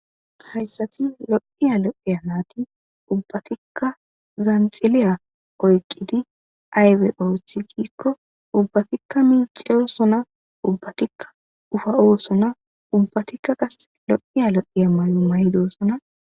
Hayssati lo'iya lo'iya naytti ubbattika zanxiliya oyqqidi aybba oothi giiko ubbatika miccossona ubbatika uuffa'etissona ubbtika qaase lo'iya lo'iya maayo mayidi de'ossona.